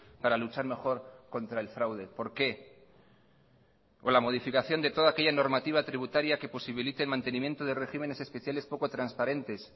para luchar mejor contra el fraude por qué o la modificación de toda aquella normativa tributaria que posibilite el mantenimiento de regímenes especiales poco transparentes